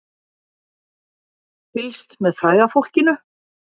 Fylgst með fræga fólkinu